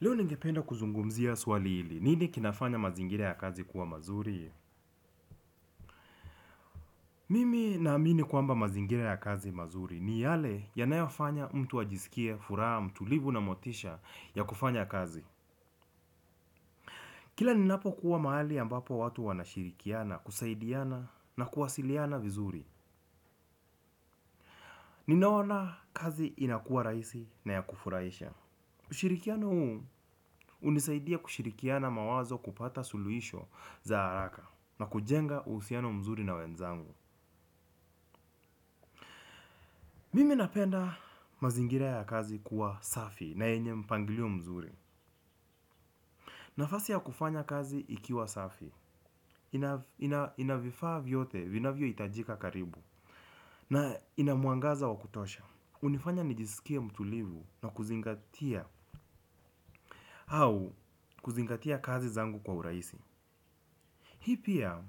Leo ningependa kuzungumzia swali hili, nini kinafanya mazingira ya kazi kuwa mazuri? Mimi naamini kwamba mazingira ya kazi mazuri ni yale yanayofanya mtu ajisikie furaha, mtulivu na motisha ya kufanya kazi. Kila ninapokuwa mahali ambapo watu wanashirikiana, kusaidiana na kuwasiliana vizuri. Ninaona kazi inakuwa rahisi na ya kufuraisha. Ushirikiano huu hunisaidia kushirikiana mawazo kupata suluhisho za haraka na kujenga uhusiano mzuri na wenzangu. Mimi napenda mazingira ya kazi kuwa safi na yenye mpangilio mzuri. Nafasi ya kufanya kazi ikiwa safi ina vifaa vyote vinavyohitajika karibu na ina mangaza wa kutosha hunifanya nijisikie mtulivu na kuzingatia au kuzingatia kazi zangu kwa urahisi. Hii pia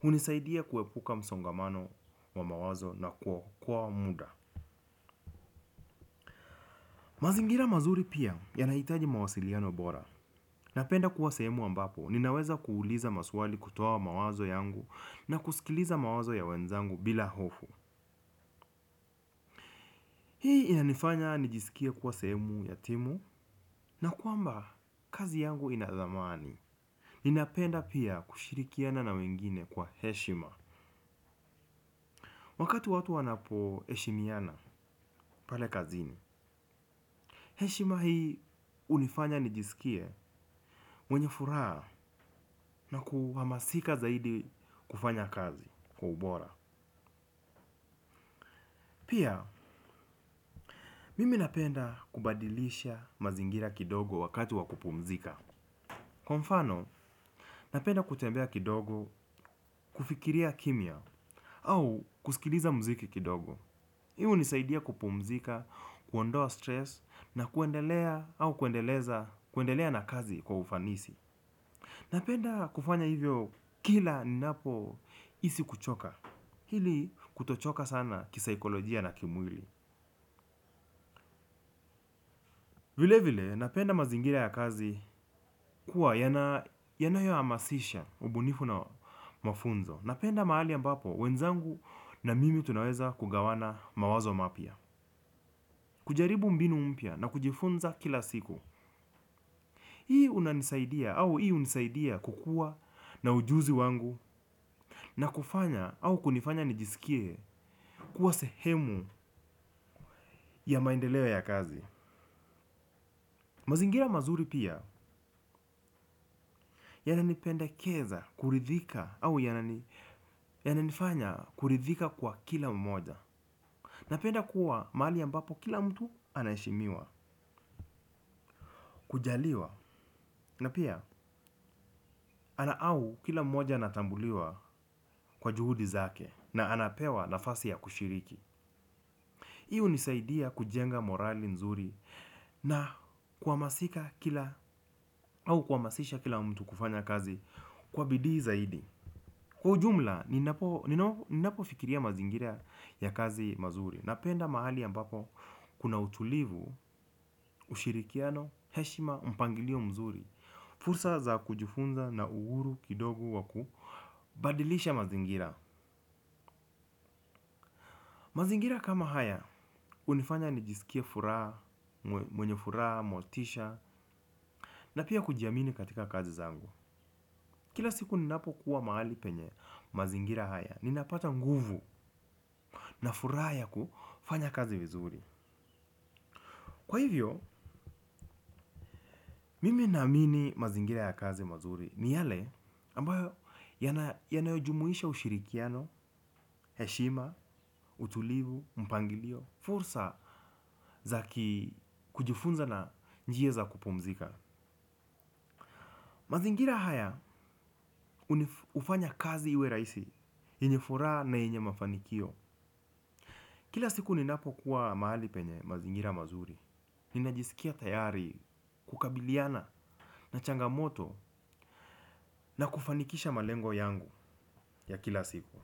hunisaidia kuepuka msongamano wa mawazo na kuokoa muda. Mazingira mazuri pia yanahitaji mawasiliano bora. Napenda kuwa sehemu ambapo ninaweza kuuliza maswali kutoa mawazo yangu na kusikiliza mawazo ya wenzangu bila hofu. Hii inanifanya nijisikie kuwa sehemu ya timu na kwamba kazi yangu ina thamani. Ninapenda pia kushirikiana na wengine kwa heshima wakati watu wanapoheshimiana pale kazini. Heshima hii hunifanya nijisikie mwenye furaha na kuhamasika zaidi kufanya kazi kwa ubora. Pia, mimi napenda kubadilisha mazingira kidogo wakati wa kupumzika. Kwa mfano, napenda kutembea kidogo, kufikiria kimya, au kusikiliza mziki kidogo. Hii hunisaidia kupumzika, kuondoa stress, na kuendelea au kuendeleza kuendelea na kazi kwa ufanisi. Napenda kufanya hivyo kila napohisi kuchoka. Hili kutochoka sana kisaikolojia na kimwili. Vile vile napenda mazingira ya kazi kuwa yanayohamasisha ubunifu na mafunzo. Napenda mahali ambapo wenzangu na mimi tunaweza kugawana mawazo mapya. Kujaribu mbinu mpya na kujifunza kila siku. Hii unanisaidia au hii hunisaidia kukua na ujuzi wangu na kufanya au kunifanya nijisikie kuwa sehemu ya maendeleo ya kazi. Mazingira mazuri pia yananipendekeza kuridhika au yananifanya kuridhika kwa kila mmoja. Napenda kuwa mahali ambapo kila mtu anaheshimiwa, kujaliwa na pia ana au kila mmoja anatambuliwa kwa juhudi zake na anapewa nafasi ya kushiriki. Hii hunisaidia kujenga morali nzuri na kuhamasika kila au kuhamasisha kila mtu kufanya kazi kwa bidii zaidi. Kwa ujumla, ninapofikiria mazingira ya kazi mazuri napenda mahali ambapo kuna utulivu ushirikiano heshima mpangilio mzuri fursa za kujifunza na uhuru. Pia, mimi napenda kubadilisha mazingira kidogo wakati wa kupumzika. Mazingira kama haya, hunifanya nijisikie furaha, mwenye furaha, motisha, na pia kujiamini katika kazi zangu. Kila siku ninapokuwa mahali penye mazingira haya, ninapata nguvu na furaha ya kufanya kazi vizuri. Kwa hivyo, mimi naamini mazingira ya kazi mazuri ni yale ambayo yanayojumuisha ushirikiano, heshima, utulivu, mpangilio fursa za kujifunza na njia za kupumzika. Mazingira haya hufanya kazi iwe rahisi yenye furaha na yenye mafanikio. Kila siku ninapokuwa mahali penye mazingira mazuri. Ninajisikia tayari kukabiliana na changamoto na kufanikisha malengo yangu ya kila siku.